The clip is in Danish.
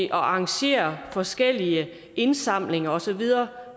at arrangere forskellige indsamlinger og så videre